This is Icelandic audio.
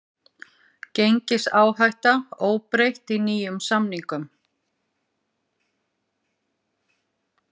Gengisáhætta óbreytt í nýjum samningum